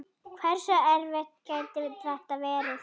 Hversu erfitt gæti þetta verið?